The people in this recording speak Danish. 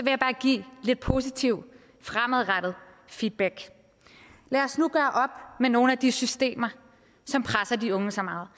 jeg bare give lidt positiv fremadrettet feedback lad os nu gøre op med nogle af de systemer som presser de unge så meget